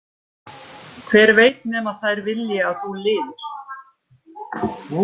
Hver veit nema þær vilji að þú lifir.